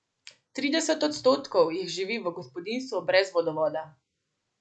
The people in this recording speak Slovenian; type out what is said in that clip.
Trideset odstotkov jih živi v gospodinjstvu brez vodovoda.